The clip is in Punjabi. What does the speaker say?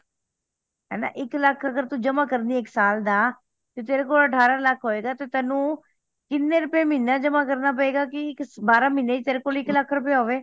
ਹੈਨਾ ਇੱਕ ਲੱਖ ਅਗਰ ਤੂੰ ਜਮਾ ਕਰਦੀ ਆ ਇੱਕ ਸਾਲ ਦਾ ਤੇਰੇ ਕੋਲ ਅਠਾਰਹ ਲੱਖ ਹੋਏਗਾ ਤੇ ਤੈਨੂੰ ਕੀਹਨੇ ਰੁਪਏ ਮਹੀਨੇ ਜਮਾ ਕਰਨਾ ਪਏਗਾ ਕਿ ਇਕ ਬਾਰਹ ਮਹੀਨੇ ਚ ਤੇਰੇ ਕੋਲ ਇੱਕ ਲੱਖ ਹੋਵੇ